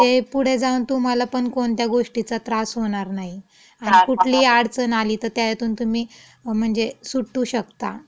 म्हणजे पुढे जाऊन तुम्हालापण कोणत्य गोष्टीचा त्रास होणार नाही, आणि कुठली अडचण आली तं त्यायातुन तुम्ही म्हणजे सुटू शकता. त्रास होणार नाही.